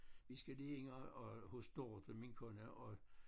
Vi skal lige ind og og hos Dorthe min kone og